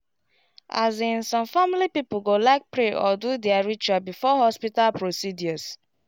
as in some family people go like pray or do their ritual before hospital procedures